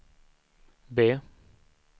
B